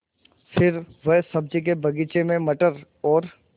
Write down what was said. फिर वह सब्ज़ी के बगीचे में मटर और